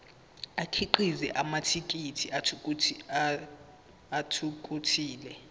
akhiqize amathekisthi athuthukile